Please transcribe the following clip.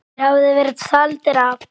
Þeir höfðu verið taldir af.